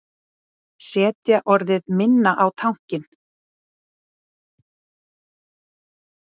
Setja orðið minna á tankinn